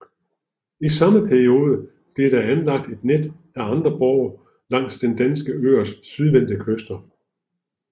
I samme periode blev der anlagt et net af andre borge langs de danske øers sydvendte kyster